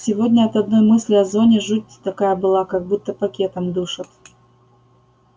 сегодня от одной мысли о зоне жуть такая была как будто пакетом душат